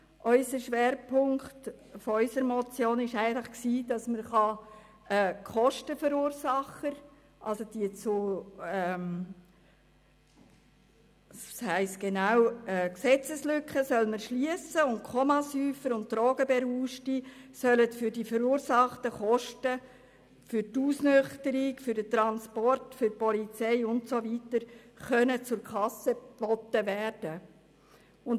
Der Schwerpunkt unserer Motion war, dass man die Gesetzeslücke schliesst und somit die Kommasäufer und Drogenberauschten für die verursachten Kosten für die Ausnüchterung, den Transport und den Polizeieinsatz zur Kasse bitten kann.